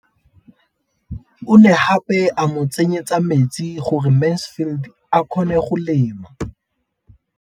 O ne gape a mo tsenyetsa metsi gore Mansfield a kgone go lema.